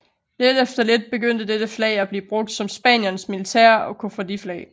Lidt efter lidt begyndte dette flag at blive brugt som Spaniens militære og koffardiflag